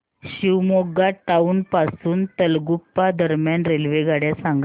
Shivamogga town पासून तलगुप्पा दरम्यान रेल्वेगाड्या सांगा